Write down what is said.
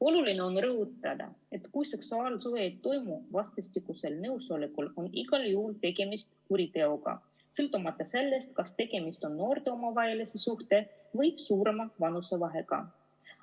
Oluline on rõhutada, et kui seksuaalsuhe ei toimu vastastikusel nõusolekul, on igal juhul tegemist kuriteoga, sõltumata sellest, kas tegemist on noorte omavahelise suhtega või suurema vanusevahega.